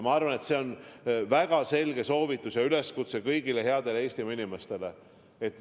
Ma arvan, et see on väga selge soovitus ja üleskutse kõigile headele Eestimaa inimestele.